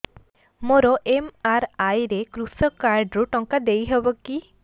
ମୋର ଏମ.ଆର.ଆଇ ରେ କୃଷକ କାର୍ଡ ରୁ ଟଙ୍କା ଦେଇ ହବ କି